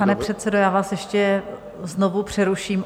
Pane předsedo, já vás ještě znovu přeruším.